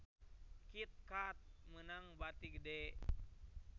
Kit Kat meunang bati gede